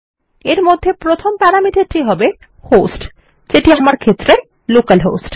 এর মধ্যে প্রথম প্যারামিটার টি হবে হোস্ট যেটি আমার ক্ষেত্রে লোকালহোস্ট